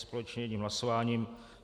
Společně jedním hlasováním.